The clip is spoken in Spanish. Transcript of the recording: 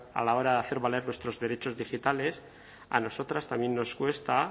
a la hora de hacer valer nuestros derechos digitales a nosotras también nos cuesta